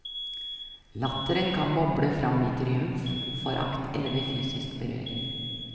Latteren kan boble fram i triumf, forakt eller ved fysisk berøring.